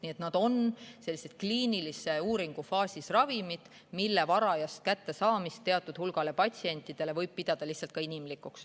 Nii et need on kliinilise uuringu faasis ravimid, mille varajast kättesaadavust teatud hulga patsientide seas võib pidada lihtsalt inimlikuks.